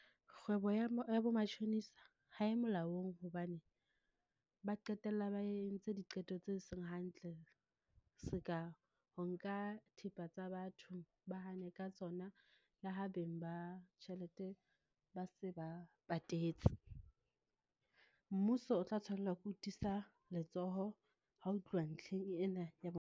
Kgwebo ya ya bo matjhonisa, ha e molaong hobane ba qetella ba entse diqeto tse seng hantle, seka ho nka thepa tsa batho, ba hane re ka tsona, le ha beng ba tjhelete ba se ba patetse. Mmuso o tla tshwanela ke ho tiisa letsoho ha ho tluwa ntlheng ena ya .